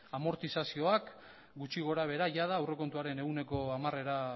amortizazioak gutxi gorabehera jada aurrekontuaren ehuneko hamarera